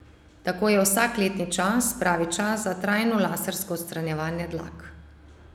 Tako je vsak letni čas pravi čas za trajno lasersko odstranjevanje dlak.